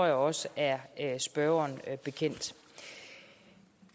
jeg også er spørgeren bekendt